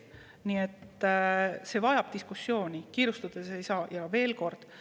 Nii et see kõik vajab diskussiooni, kiirustades ei midagi teha.